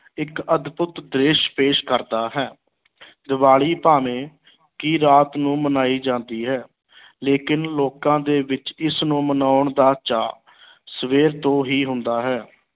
ਇੱਕ ਅਦਭੁੱਤ ਦ੍ਰਿਸ਼ ਪੇਸ਼ ਕਰਦਾ ਹੈ ਦੀਵਾਲੀ ਭਾਵੇਂ ਕਿ ਰਾਤ ਨੂੰ ਮਨਾਈ ਜਾਂਦੀ ਹੈ ਲੇਕਿਨ ਲੋਕਾਂ ਦੇ ਵਿੱਚ ਇਸ ਨੂੰ ਮਨਾਉਣ ਦਾ ਚਾਅ ਸਵੇਰ ਤੋਂ ਹੀ ਹੁੰਦਾ ਹੈ।